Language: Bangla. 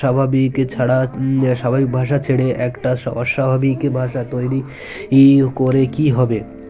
স্বাভাবিক ছাড়া স্বাভাবিক ভাষা ছেড়ে একটা অস্বাভাবিক ভাষা তৈরি ই করে কী হবে